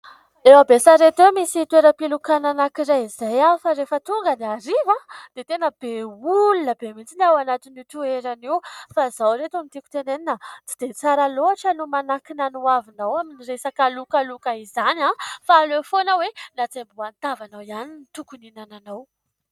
Eo Besarety eo misy toeram-pilokana anankiray izay, fa rehefa tonga ny hariva dia tena be olona be mihitsy ny ao anatin'io toerana io. Fa izao ry ireto no tiako tenenina, tsy dia tsara loatra no manankina ny hoavinao amin'ny resaka lokaloka izany, fa aleo foana hoe ny hatsembohan'ny tavanao ihany no hihinananao.